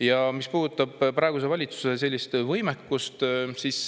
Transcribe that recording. Ja mis puudutab praeguse valitsuse võimekust, siis